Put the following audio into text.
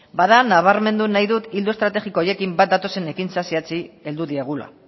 bada nabarmendu nahi dut ildo estrategiko horiekin bat datozen ekintza zehatzei heldu diegula